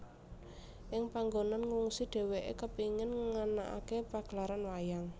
Ing panggonan ngungsi dheweke kepengin nganakake pagelaran wayang